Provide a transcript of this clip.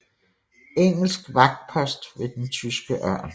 Engelsk vagtpost ved den tyske ørn